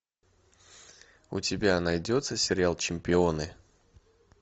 у тебя найдется сериал чемпионы